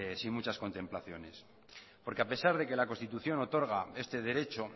sin muchas contemplaciones porque a pesar de que la constitución otorga este derecho